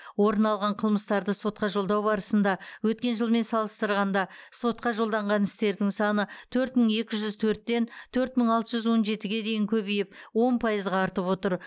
орын алған қылмыстарды сотқа жолдау барысында өткен жылмен салыстырғанда сотқа жолданған істердің саны төрт мың екі жүз төрттен төрт мың алты жүз он жетіге дейін көбейіп он пайызға артып отыр